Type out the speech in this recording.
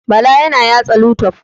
Bala yana latsa youtube.